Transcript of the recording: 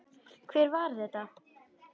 Hver var þetta?